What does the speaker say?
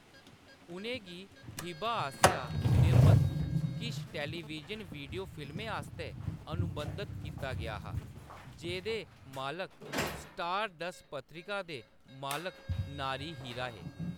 उʼनें गी हिबा आसेआ निर्मत किश टेलीविजन वीडियो फिल्में आस्तै अनुबंधत कीता गेआ हा, जेह्‌दे मालक स्टारडस्ट पत्रिका दे मालक नारी हीरा हे।